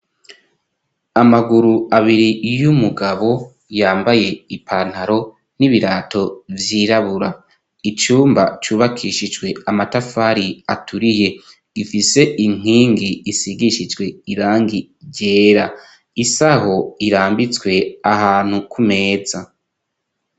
Amaguru abiri y'umugabo yambaye ipantaro n'ibirato vyirabura, icumba cubakishijwe amatafari aturiye, ifise inkingi isigishijwe irangi ryera ,isaho irambitswe ahantu ku meza.